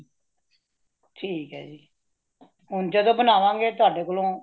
ਠੀਕ ਹੈ ਜੀ ਹੁਣ ਜਦੋ ਬਨਾਵਾ ਗੇ ਤੁਹਾਡੇ ਕੋਲੋਂ